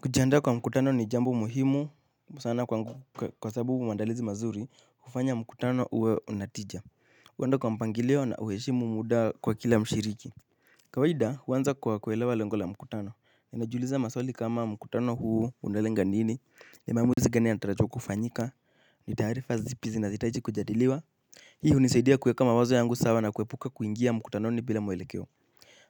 Kujianda kwa mkutano ni jambo muhimu, sana kwangu kwa sababu maandalizi mazuri hufanya mkutano uwe unatija. Huenda kwa mpangilio na huheshimu muda kwa kila mshiriki. Kawaida, huwanza kwa kuelewa lengo la mkutano. Najiuliza maswali kama mkutano huu unalenga nini. Ni maamuzi gani yanatarajiwa kufanyika, ni taarifa zipi zina zinahitaji kujadiliwa. Hii hunisaidia kueka mawazo yangu sawa na kuepuka kuingia mkutanoni bila mwelekeo.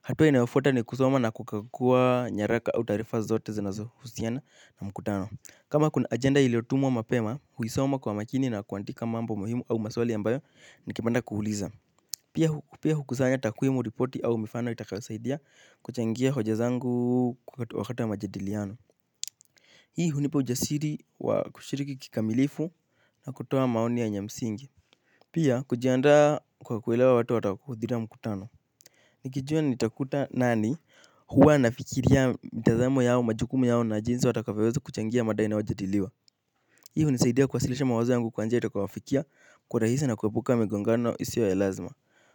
Hatua inayofuata ni kusoma na kukagua nyaraka au taarifa zote zinazo husiana na mkutano. Kama kuna agenda iliotumwa mapema huisoma kwa makini na kuandika mambo muhimu au maswali ambayo ningependa kuuliza. Pia hukusanya takwimu, ripoti au mifano itakayo saidia kuchangia hoja zangu wakati wa majadiliano hii hunipa ujasiri wa kushiriki kikamilifu na kutoa maoni yenye msingi pia kujianda kwa kuelewa watu watakuwa mkutano. Nikijua nitakuta nani huwa nafikiria mitazamo yao, majukumu yao na jinsi watakavyo weza kuchangia mada inayo jadiliwa. Hio hunisaidia kuwasilisha mawazo yangu kwa njia itakayo wafikia kwa urahisi na kuepuka migongano isio ya lazima.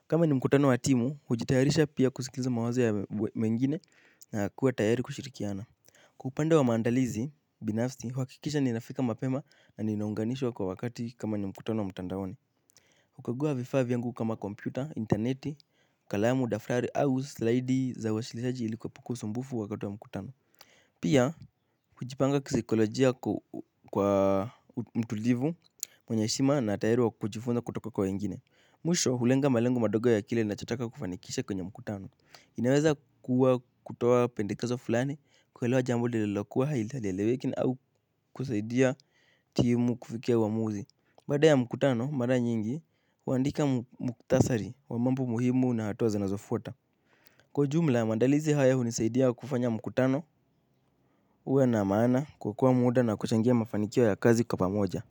Kama ni mkutano wa timu, hujitayarisha pia kusikiza mawazo mengine na kuwa tayari kushirikiana. Kwa upande wa maandalizi, binafsi huhakikisha ninafika mapema na ninaunganishwa kwa wakati kama ni mkutano mtandaoni. Hukagua vifaa vyangu kama kompyuta, interneti, kalamu, daftari, au slidi za uwasilisaji ili kuepuku usumbufu wakati wa mkutano. Pia, kujipanga kisaikolojia kwa mtulivu mwenye heshima na tayari wa kujifunza kutoka kwa wengine. Mwisho, hulenga malengo madogo ya kile ninachotaka kufanikisha kwenye mkutano. Inaweza kuwa kutowa pendekezo fulani, kwelewa jambo lililokuwa halieleweki au kusaidia timu kufikia uamuzi. Baada ya mkutano, mara nyingi, huandika mkutasari wa mambo muhimu na hatuwa zanazofuata. Kwa ujumla maandalizi haya hunisaidia kufanya mkutano uwe na maana, kuokoa muda na kuchangia mafanikio ya kazi kwa pamoja.